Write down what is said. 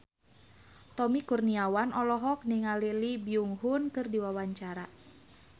Tommy Kurniawan olohok ningali Lee Byung Hun keur diwawancara